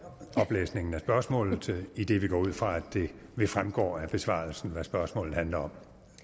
oplæsning af spørgsmålet idet vi går ud fra at det fremgår af besvarelsen hvad spørgsmålet handler om